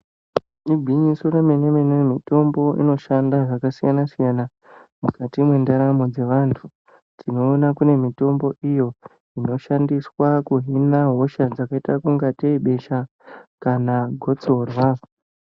Igwinyiso remene-mene mitombo inoshanda zvakasiyana-siyana ,mukati mwendaramo dzevantu. Tinoona kune mitombo iyo inoshandiswa kuhina hosha dzakaita kungatei besha ,kana gotsorwa.